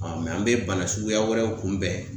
Ɔ mɛ an be bana suguya wɛrɛw kunbɛn